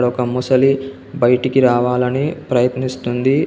ఒక ముసలి బయటికి రావాలని ప్రయత్నిస్తుంది.